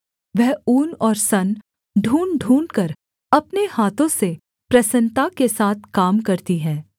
वह ऊन और सन ढूँढ़ ढूँढ़कर अपने हाथों से प्रसन्नता के साथ काम करती है